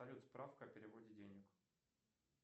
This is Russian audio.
салют справка о переводе денег